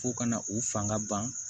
Fo ka na u fanga ban